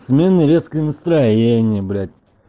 сменный резкое настроение блять